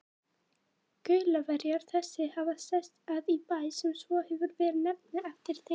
Gaulverjar þessir hafa sest að í Bæ, sem svo hefur verið nefndur eftir þeim.